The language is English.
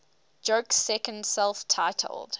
joke's second self titled